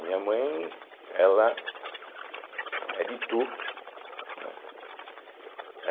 Minha mãe ela é de Itu, né eh.